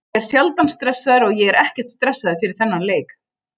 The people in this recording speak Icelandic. Ég er sjaldan stressaður og ég var ekkert stressaður fyrir þennan leik.